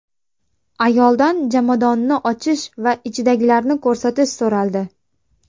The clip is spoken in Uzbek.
Ayoldan jomadonni ochish va ichidagilarni ko‘rsatish so‘raldi.